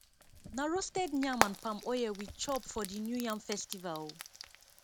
na roasted yam and palm oil we chop for di new yam festival o